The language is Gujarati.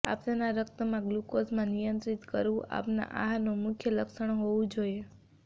આપનાં રક્તમાં ગ્લૂકોઝમાં નિયંત્રિત કરવું આપનાં આહારનું મુખ્ય લક્ષ્ય હોવું જોઇએ